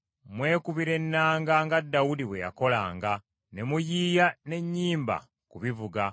Mwekubira ennanga nga Dawudi bwe yakolanga, ne muyiiya n’ennyimba ku bivuga.